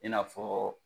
I n'a fɔ